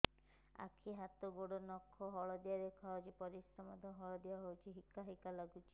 ଆଖି ହାତ ଗୋଡ଼ର ନଖ ହଳଦିଆ ଦେଖା ଯାଉଛି ପରିସ୍ରା ମଧ୍ୟ ହଳଦିଆ ହଉଛି ହିକା ହିକା ଲାଗୁଛି